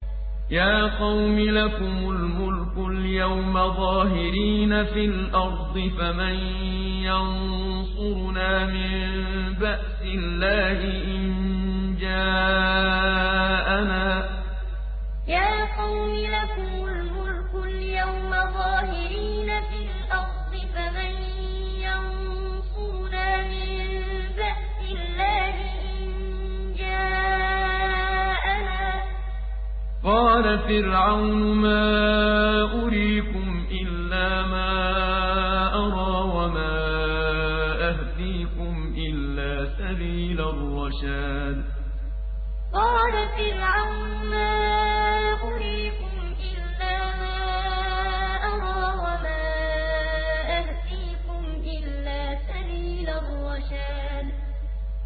يَا قَوْمِ لَكُمُ الْمُلْكُ الْيَوْمَ ظَاهِرِينَ فِي الْأَرْضِ فَمَن يَنصُرُنَا مِن بَأْسِ اللَّهِ إِن جَاءَنَا ۚ قَالَ فِرْعَوْنُ مَا أُرِيكُمْ إِلَّا مَا أَرَىٰ وَمَا أَهْدِيكُمْ إِلَّا سَبِيلَ الرَّشَادِ يَا قَوْمِ لَكُمُ الْمُلْكُ الْيَوْمَ ظَاهِرِينَ فِي الْأَرْضِ فَمَن يَنصُرُنَا مِن بَأْسِ اللَّهِ إِن جَاءَنَا ۚ قَالَ فِرْعَوْنُ مَا أُرِيكُمْ إِلَّا مَا أَرَىٰ وَمَا أَهْدِيكُمْ إِلَّا سَبِيلَ الرَّشَادِ